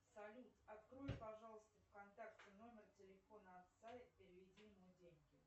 салют открой пожалуйста в контакте номер телефона отца и переведи ему деньги